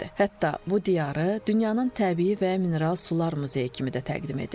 Hətta bu diyarı dünyanın təbii və mineral sular muzeyi kimi də təqdim edirlər.